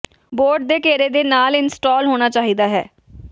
board ਦੇ ਘੇਰੇ ਦੇ ਨਾਲ ਇੰਸਟਾਲ ਹੋਣਾ ਚਾਹੀਦਾ ਹੈ